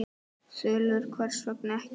Þulur: Hvers vegna ekki?